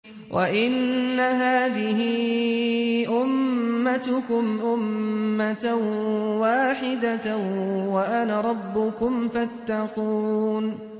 وَإِنَّ هَٰذِهِ أُمَّتُكُمْ أُمَّةً وَاحِدَةً وَأَنَا رَبُّكُمْ فَاتَّقُونِ